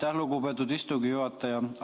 Aitäh, lugupeetud istungi juhataja!